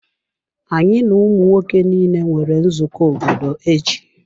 Anyị na ụmụ nwoke niile nwere nzukọ obodo echi.